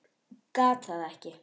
Gat það ekki.